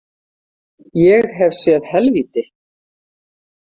Ég hef séð helvíti.